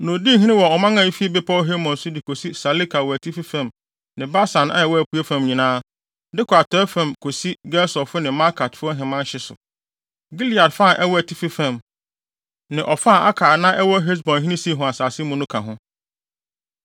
Na odii hene wɔ ɔman a efi Bepɔw Hermon so de kosi Saleka wɔ atifi fam ne Basan a ɛwɔ apuei fam nyinaa, de kɔ atɔe fam kosi Gesurfo ne Maakatfo ahemman hye so. Gilead fa a ɛwɔ atifi fam, ne ɔfa a aka a na ɛwɔ Hesbonhene Sihon asase mu no ka ho.